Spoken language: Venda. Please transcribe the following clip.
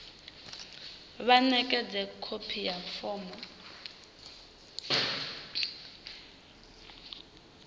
vha ṋekedze khophi ya fomo